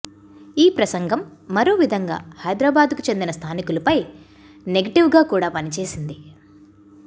ఈ ప్రసంగం మరో విధంగా హైదరాబాదుకు చెందిన స్థానికులపై నెగ టివ్గాకూడాపని చేసింది